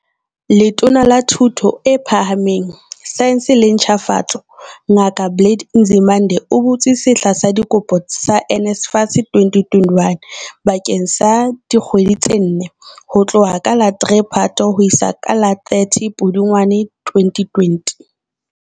Letona la Thuto e Phahameng, Saense le Ntjhafatso, Ngaka Blade Nzimande, o butse sehla sa dikopo sa NSFAS 2021 bakeng sa dikgwedi tse nne, ho tloha ka la 3 Phato ho isa ka la 30 Pudungwane 2020.